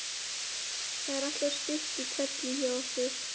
Það er alltaf stutt í hvellinn hjá okkur.